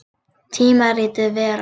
Tímaritið Vera.